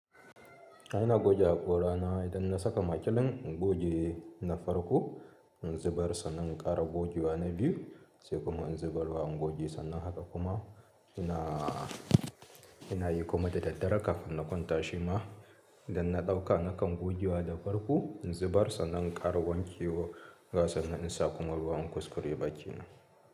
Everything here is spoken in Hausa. Ina goge hakora na idan na saka makilin in goge na farko in zubar sannan, in ƙara goge wa na biyu sai kuma in zubar wa, in goge sannan haka kuma ina, ina yi kuma da daddare kafin na kwanta shima idan na ɗauka nakan goge wa da farko in zubar sannan in ƙara wanke wa a sannan in sa kuma ruwan kuskure bakina.